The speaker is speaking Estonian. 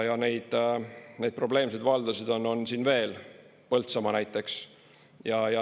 Ja neid probleemseid valdasid on siin veel, Põltsamaa näiteks.